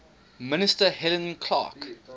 minister helen clark